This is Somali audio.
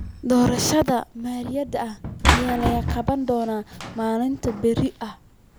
Doorashada maayarrada ayaa la qaban doonaa maalinta berito ah.